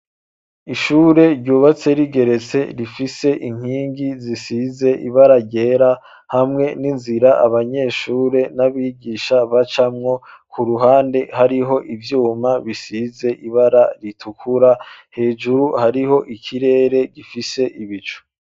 Ishure ryubatse rigeretse rifise inkingi zisize ibara ryera hamwe ninzira abanyeshure n’abigisha bacamwo kuruhande hariho ivyuma bisize ibara ritukura ,hejuru hariho ikirere gifise ibicu.